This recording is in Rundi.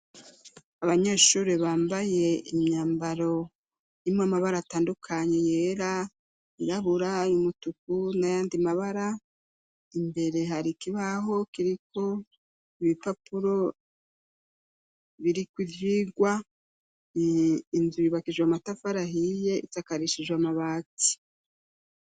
Abanyeshuri bambaye imyambaro imwe amabara atandukanyi yera inrabura y'umutuku na yandimabara imbere hari ikibaho kiriko ibipapuro biriko ivyirwa inzu bibakijwe amatafarahiye itsakaa reshijwe amabati.